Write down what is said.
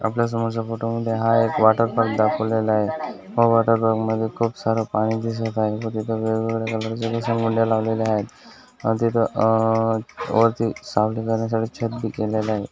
आपल्या समोरच्या फोटो मध्ये हा एक वॉटर पार्क दाखवलेला आहे हा वॉटर पार्क मधे खूप सारा पाणी दिसत आहे व तिथे वेगवेगळ्या कलर्सचे घसरगुंडया लावलेल्या आहेत आणि तिथे अ वरती सावली येण्यासाठी छत भी केलेल आहे.